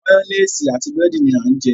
Máyónésì àti búrẹ́dì ni à ń jẹ.